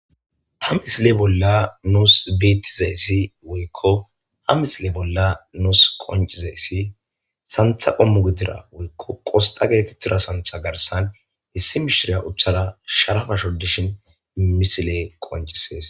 Ha misile bolla nuus bettizayssi woykko ha misile bolla nuus qonccizayssi santha qoommo woykko qostta getettida santha garssan issi mishiriya uuttada sharappa shodishin miley qoncisishes